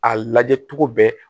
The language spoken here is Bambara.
A lajɛ cogo bɛɛ